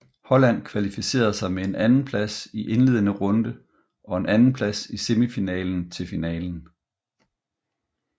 Holland kvalificerede sig med en andenplads i indledende runde og en andenplads i semifinalen til finalen